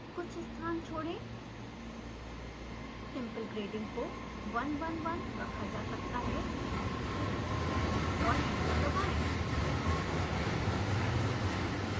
कुछ स्थान छोड़ें simple grading को 1 1 1 रखा जा सकता है और एंटर दबाएं